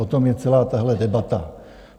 O tom je celá tahle debata.